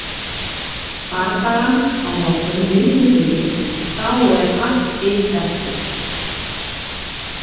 Bardagann á morgun vinnum við en þá er allt hitt eftir.